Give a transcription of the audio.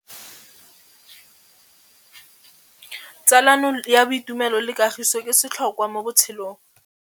Tsalano ya boitumelo le kagiso ke setlhôkwa mo botshelong.